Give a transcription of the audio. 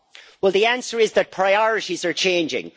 Well, the answer is that priorities are changing.